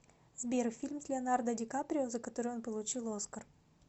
сбер фильм с леонардо дикаприо за который он получил оскар